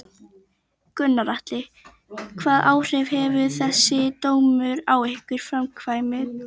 Gunnar Atli: Hvaða áhrif hefur þessi dómur á ykkar framkvæmdir?